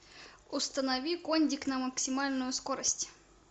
установи кондик на максимальную скорость